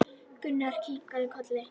Gunnar kinkaði kolli.